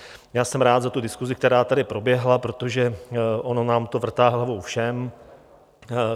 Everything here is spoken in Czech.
Já jsem rád za tu diskusi, která tady proběhla, protože ono nám to vrtá hlavou všem.